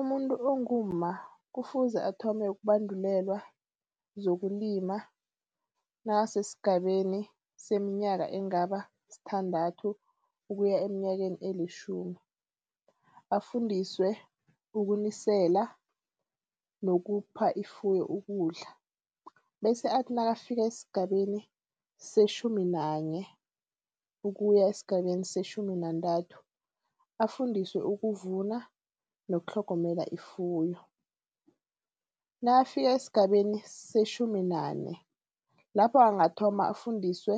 Umuntu ongumma kufuze athome ukubandulelwa zokulima nakasesigabeni seminyaka engaba sithandathu ukuya eminyakeni elitjhumi. Afundiswe ukuniselwa nokupha ifuyo ukudla. Bese athi nakafika esigabeni setjhumi nanye ukuya esigabeni setjhumi nantathu afundiswe ukuvuna nokutlhogomela ifuyo. Nakafika esigabeni setjhumi nane lapho angathoma afundiswe